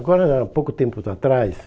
Agora, há pouco tempos atrás...